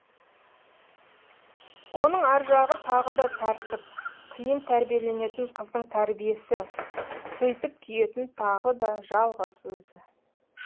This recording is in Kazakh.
оның аржағы тағы да тәртіп қиын тәрбиеленетін қыздың тәрбиесі сөйтіп күйетін тағы да жалғыз өзі